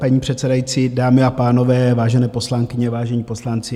Paní předsedající, dámy a pánové, vážené poslankyně, vážení poslanci.